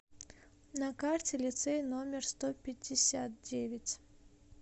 на карте лицей номер сто пятьдесят девять